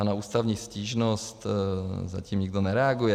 A na ústavní stížnost zatím nikdo nereaguje.